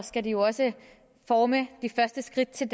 skal de jo også forme de første skridt til